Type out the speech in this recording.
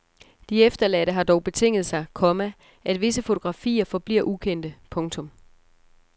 De efterladte har dog betinget sig, komma at visse fotografier forbliver ukendte. punktum